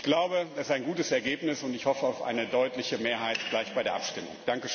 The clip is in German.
Ich glaube, das ist ein gutes Ergebnis, und ich hoffe auf eine deutliche Mehrheit gleich bei der Abstimmung.